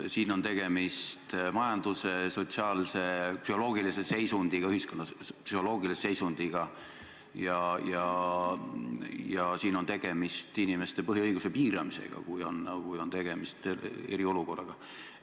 Siin on tegemist majandusliku, sotsiaalse ja psühholoogilise seisundiga ühiskonnas ning inimeste põhiõiguse piiramisega – kui on tegemist eriolukorraga.